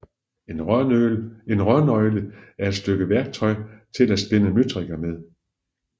En rørnøgle er et stykke værktøj til at spænde møtrikker med